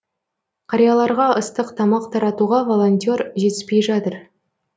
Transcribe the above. қарияларға ыстық тамақ таратуға волонтер жетіспей жатыр